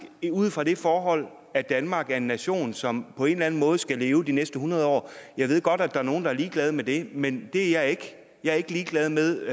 ud fra det forhold at danmark er en nation som på en eller anden måde skal leve de næste hundrede år jeg ved godt at der er nogle der er ligeglade med det men det er jeg ikke jeg er ikke ligeglad med